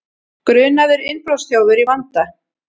Grunaður innbrotsþjófur í vanda